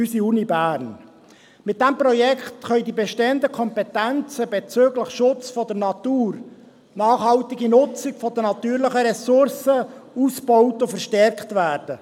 Mit diesem Projekt können die bestehenden Kompetenzen bezüglich des Schutzes der Natur und der nachhaltigen Nutzung der natürlichen Ressourcen ausgebaut und verstärkt werden.